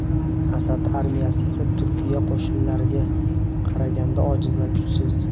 Asad armiyasi esa Turkiya qo‘shinlariga qaraganda ojiz va kuchsiz.